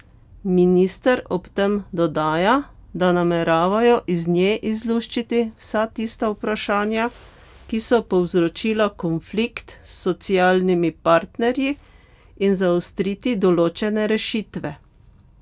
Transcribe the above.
Minister ob tem dodaja, da nameravajo iz nje izluščiti vsa tista vprašanja, ki so povzročila konflikt s socialnimi partnerji, in zaostriti določene rešitve.